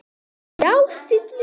Já, Silli.